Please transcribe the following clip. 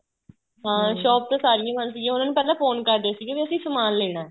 ਹਾਂ shop ਤਾਂ ਸਾਰੀਆਂ ਬੰਦ ਸੀਗੀਆਂ ਉਹਨਾ ਨੂੰ ਪਹਿਲਾਂ ਫੋਨ ਕਰਦੇ ਸੀਗੇ ਵੀ ਅਸੀਂ ਸਮਾਨ ਲੈਣਾ